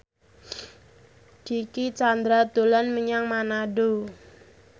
Dicky Chandra dolan menyang Manado